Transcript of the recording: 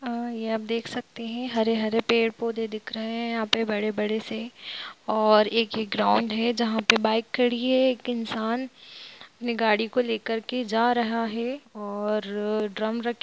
अ यह आप देख सकते है हरे-हरे पेड़ पोधे दिख रहे है यहा पे बड़े-बड़े से और एक ग्राउन्ड है जहा पर बाइ खड़ी है एक इंसान अपनी गाड़ी को ले करके जा रहा है और ड्रम रखी--